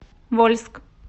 вольск